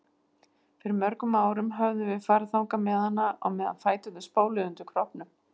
Fyrir mörgum árum höfðum við farið þangað með hana á meðan fæturnir spóluðu undir kroppnum.